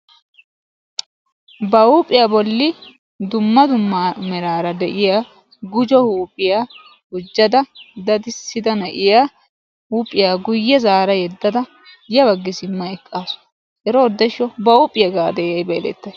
Ba huuphiya bolli dumma dumma meraara diya gujo huuphiya gujjada dadissida na'iya huuphiya guyye zaara yeddada ya baggi simma eqqaasu. Ero hoddeshsho ba huuphiya gaadeeyye ayba elettayi.